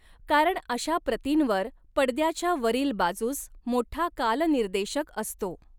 कारण अशा प्रतींवर पडद्याच्या वरील बाजूस मोठा कालनिर्देशक असतो.